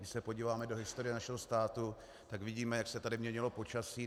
Když se podíváme do historie našeho státu, tak vidíme, jak se tady měnilo počasí.